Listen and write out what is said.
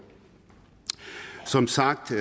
som sagt